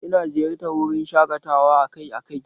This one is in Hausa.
Ina ziyartar wurin shaƙatawa akai akai